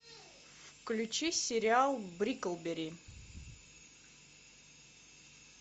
включи сериал бриклберри